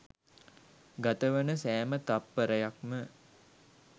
ගතවන සෑම තත්පරයක්ම